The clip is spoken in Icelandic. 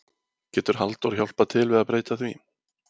Getur Halldór hjálpað til við að breyta því?